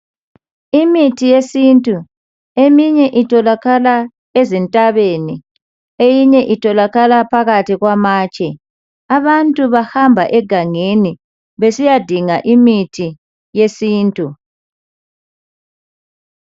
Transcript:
Imithi yesintu, eminye itholakala ezintabeni, eyinye itholakala phakathi kwamatshe. Abantu bahamba egangeni besiyadinga imithi yesintu